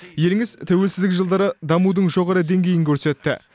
еліңіз тәуелсіздік жылдары дамудың жоғары деңгейін көрсетті